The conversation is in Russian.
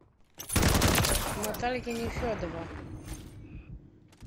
наталья нефедова